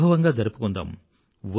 వైభవంగా జరుపుకుందాం